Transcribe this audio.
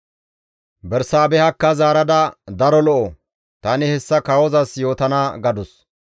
Bersaabehakka zaarada, «Daro lo7o; tani hessa kawozas yootana» gadus.